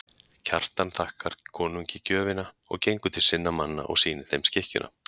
Kjartan þakkar konungi gjöfina og gengur til sinna manna og sýnir þeim skikkjuna.